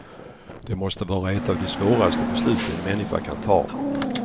Det måste vara ett av de svåraste beslut en människa kan ta.